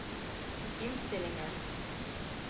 innstillinger